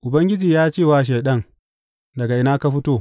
Ubangiji ya ce wa Shaiɗan, Daga ina ka fito?